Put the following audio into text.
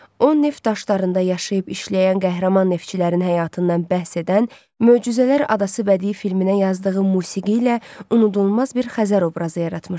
O neft daşlarında yaşayıb işləyən qəhrəman neftçilərin həyatından bəhs edən Möcüzələr adası bədii filminə yazdığı musiqi ilə unudulmaz bir Xəzər obrazı yaratmışdı.